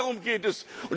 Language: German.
Nur darum geht es.